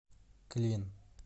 клин